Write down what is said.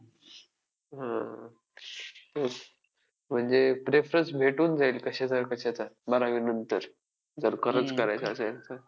महात्मा गांधी यांचे वय तेरा पूर्ण होताच तरुण वयात लग्न झाले होते आणि त्यांच्या पत्नी पत्नीचे नाव कस्तुरबा होते. त्यांना “बा” असेही म्हटले जात असे.